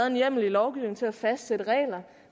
en hjemmel i lovgivningen til at fastsætte regler